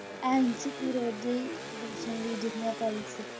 ਫਿਰ ਉਹ ਜਿਹਾ ਹੀ ਦੁਨੀਆ